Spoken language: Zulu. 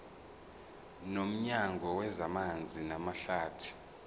nomnyango wezamanzi namahlathi